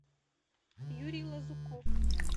юрий лазуков